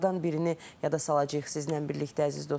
Elə onlardan birini yada salacağıq sizlə birlikdə, əziz dostlar.